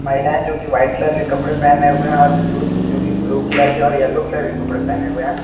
महिलाएं जो कि वाइट कलर के कपड़े पहने हुए हैं और पुरुष जो कि ब्लू कलर के और येलो कलर के कपड़े पहने हुए हैं।